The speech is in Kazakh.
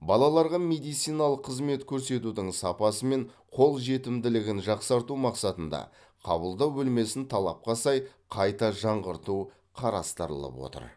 балаларға медициналық қызмет көрсетудің сапасы мен қол жетімділігін жақсарту мақсатында қабылдау бөлмесін талапқа сай қайта жаңғырту қарастырылып отыр